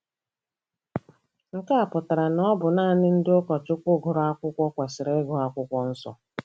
Nke a pụtara na ọ bụ naanị ndị ụkọchukwu gụrụ akwụkwọ kwesịrị ịgụ Akwụkwọ Nsọ.